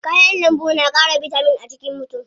Kayan lambu na ƙara bitamin a jikin mutu.